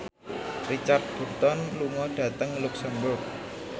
Richard Burton lunga dhateng luxemburg